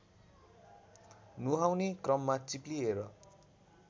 नुहाउने क्रममा चिप्लिएर